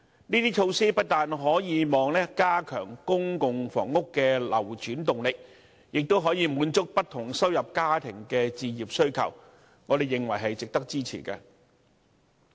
這些措施不但可加強公共房屋的流轉動力，亦可滿足不同收入家庭的置業需求，我們認為值得支持。